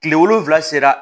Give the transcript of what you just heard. Kile wolonfila sera